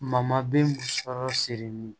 den musɔrɔ siri ni